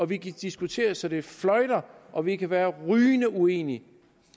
vi kan diskutere så det fløjter og vi kan være rygende uenige